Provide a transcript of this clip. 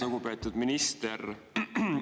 Lugupeetud minister!